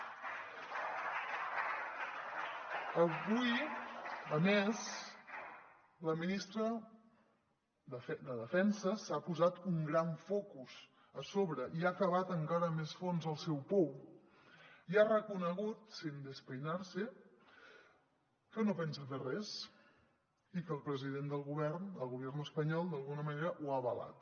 avui a més la ministra de defensa s’ha posat un gran focus a sobre i ha cavat encara més fondo el seu pou i ha reconegut sin despeinarse que no pensa fer res i el president del govern del gobierno espanyol d’alguna manera ho ha avalat